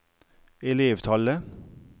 elevtallet